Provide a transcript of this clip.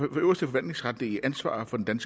øverste forvaltningsretlige ansvar for den